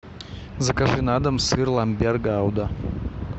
закажи на дом сыр ламбер гауда